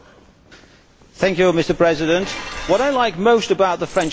Mr President, what I like most about the French President is his name.